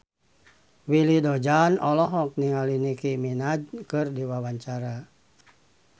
Willy Dozan olohok ningali Nicky Minaj keur diwawancara